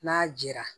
N'a jɛra